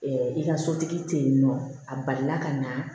i ka sotigi tɛ yen nɔ a balila ka na